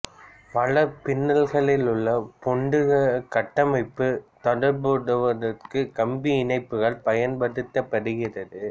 வலைப்பின்னளில் உள்ள பௌதிக கட்டமைப்பை தொடர்புபடுத்துவதற்கு கம்பி இணைப்புகள் பயன்படுத்தபடுகிறது